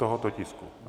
... tohoto tisku.